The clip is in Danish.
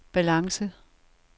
balance